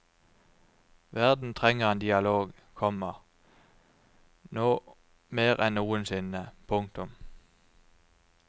Verden trenger en dialog, komma nå mer enn noensinne. punktum